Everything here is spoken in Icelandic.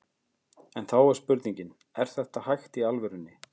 En þá er spurningin, er þetta hægt í alvörunni?